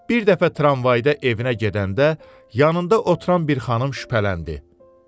Bir dəfə tramvayda evinə gedəndə yanında oturan bir xanım şübhələndi.